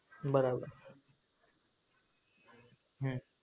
હમ બરાબર હમ